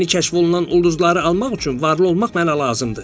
Yeni kəşf olunan ulduzları almaq üçün varlı olmaq mənə lazımdır.